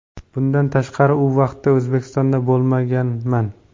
Bundan tashqari u vaqtda O‘zbekistonda bo‘lmaganman.